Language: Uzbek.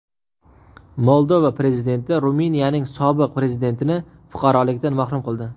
Moldova prezidenti Ruminiyaning sobiq prezidentini fuqarolikdan mahrum qildi.